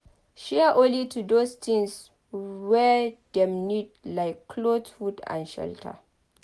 Share only those things wey dem need like cloth food and shelter